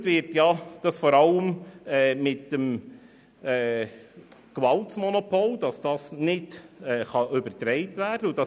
Begründet wird dies vor allem mit dem Gewaltmonopol, welches nicht übertragen werden kann.